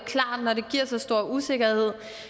giver så stor usikkerhed